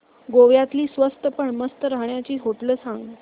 गोव्यातली स्वस्त पण मस्त राहण्याची होटेलं सांग